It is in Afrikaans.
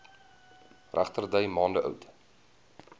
regterdy maande oud